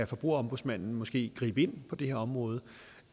forbrugerombudsmanden måske gribe ind på det her område